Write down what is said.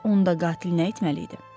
Bəs onda qatil nə etməli idi?